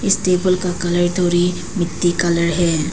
इस टेबल का कलर थोड़ी मिट्टी कलर है।